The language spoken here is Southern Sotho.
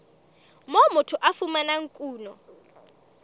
moo motho a fumanang kuno